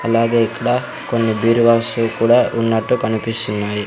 అలాగే ఇక్కడ కొన్ని బీరువాసు కూడా కనిపిస్తున్నాయి.